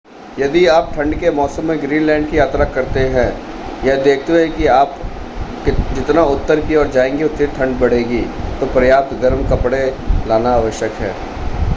यदि आप ठंड के मौसम में ग्रीनलैंड की यात्रा करते हैं यह देखते हुए कि आगे आप जितना उत्तर की ओर जाएँगे उतनी ठंड बढ़ेगी तो पर्याप्त गर्म कपड़े लाना आवश्यक है।